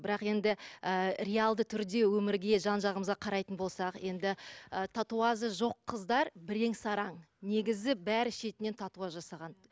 бірақ енді ы реалды түрде өмірге жан жағымызға қарайтын болсақ енді ы татуажы жоқ қыздар бірең саран негізі бәрі шетінен татуаж жасаған